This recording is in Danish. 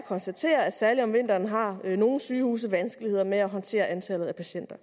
konstatere at særlig om vinteren har nogle sygehuse vanskeligheder med at håndtere antallet af patienter